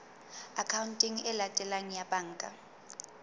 akhaonteng e latelang ya banka